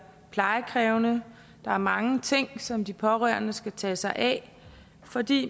plejekrævende der er mange ting som de pårørende skal tage sig af fordi